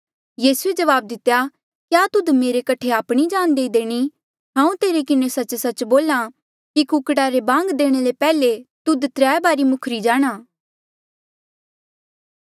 यीसूए जवाब दितेया क्या तुध मेरे कठे आपणी जान देई देणी हांऊँ तेरे किन्हें सच्च सच्च बोल्हा कि कुकड़ा रे बांग देणे ले पैहले तुध त्राय बारी मुखरी जाणा